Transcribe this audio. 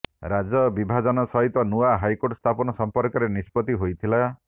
ରାଜ୍ୟ ବିଭାଜନ ସହିତ ନୂଆ ହାଇକୋର୍ଟ ସ୍ଥାପନ ସମ୍ପର୍କରେ ନିଷ୍ପତି ହୋଇଥିଲା